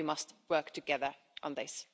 We must work together on this.